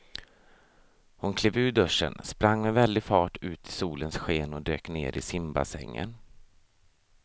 Hon klev ur duschen, sprang med väldig fart ut i solens sken och dök ner i simbassängen.